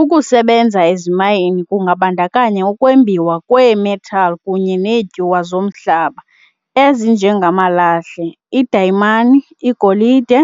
Ukusebenza ezimayini kungabandakanya ukwembiwa kweemetal kunye neetyuwa zomhlaba, ezinje ngamalahle, idayimani, igolide,